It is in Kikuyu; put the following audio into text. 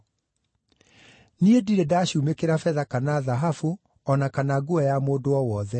Niĩ ndirĩ ndacuumĩkĩra betha kana thahabu, o na kana nguo ya mũndũ o wothe.